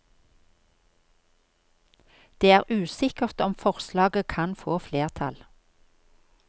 Det er usikkert om forslaget kan få flertall.